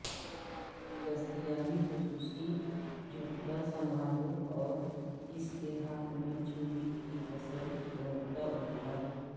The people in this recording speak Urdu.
دستیابی خصوصی جھکتا سنبھالنا اور اس کے ہاتھ میں چھری کی فسل روکتا ابھاروں